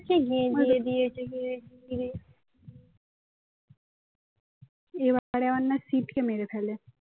এবারে আবার না সিদ কে মেরে ফেলে